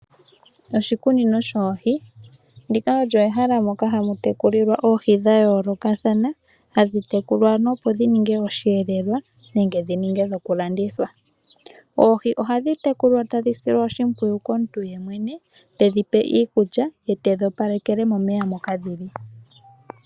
Oshikunino shoohi olyo ehala ndyoka hamu tekulilwa oohi dhomaludhi ga yoolokathana hadhi tekulwa opo dhi ninge oshiyelelwa nenge dhi ninge dhokulandithwa. Oohi ohadhi tekulwa tadhi silwa oshimpwiyu komuntu, tedhi pe iikulya ye toopaleke omeya moka dhi li.